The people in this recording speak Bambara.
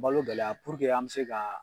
Balo gɛlɛya purke an bɛ se ka